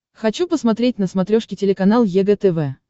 хочу посмотреть на смотрешке телеканал егэ тв